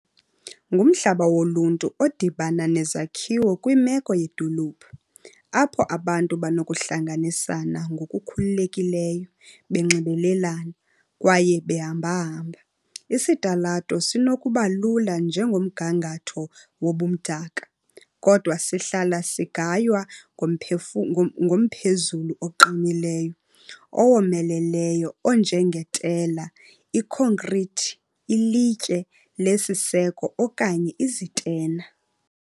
Ngumhlaba woluntu odibana nezakhiwo kwimeko yedolophu, apho abantu banokuhlanganisana ngokukhululekileyo, banxibelelane, kwaye bahambehamba. Isitalato sinokuba lula njengomgangatho wobumdaka, kodwa sihlala sigaywa ngomphezulu oqinileyo, owomeleleyo onjengetela, ikhonkrithi, ilitye lesiseko okanye izitena.